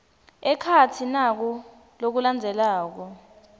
ekhatsi naku lokulandzelako